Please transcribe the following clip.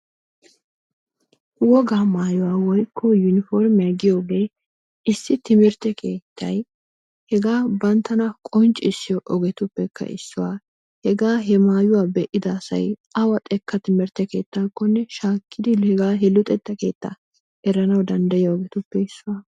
wogaa mayuwaa woykko yunipormiyaa giyoogee issi timirtte keettay hegaa banttana qonccisiyoo ogetuppekka issuwaa. Hegaa he maayuwaa be'ida asay awa xekka timirtte keettaakonne shaakkidi hegaa he luxxetta keettaa eranwu danddayiyo ogetuppe issuwaa.